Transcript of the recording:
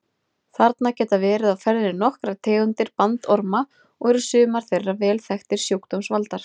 Þarna geta verið á ferðinni nokkrar tegundir bandorma og eru sumar þeirra vel þekktir sjúkdómsvaldar.